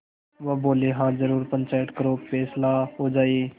वह बोलेहाँ जरूर पंचायत करो फैसला हो जाय